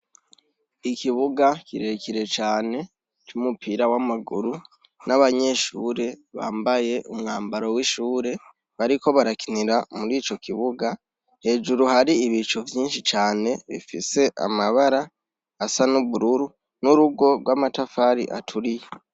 Ikibuga kirekire cane c'umupira w'amaguru, n'abanyeshure bambaye umwambaro w'ishure bariko barakinira mur'ico kibuga. Hejuru, har'ibicu vyinshi cane bifise amabara asa n'ubururu, n'urugo rw'amatafari aturiye.